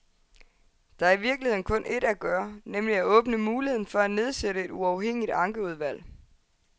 Der er i virkeligheden kun et at gøre, nemlig at åbne muligheden for at nedsætte et uafhængigt ankeudvalg.